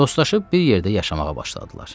Dostlaşıb bir yerdə yaşamağa başladılar.